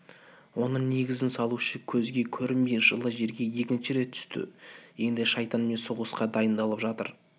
оның негізін салушы көзге көрінбей жылы жерге екінші рет түсті енді шайтанмен соғысқа дайындалып жатыр